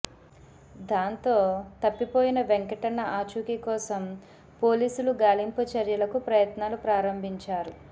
దాంతో తప్పిపోయిన వెంకటన్న ఆచూకీ కోసం పోలీసులు గాలింపు చర్యలకు ప్రయత్నాలు ప్రారంభించారు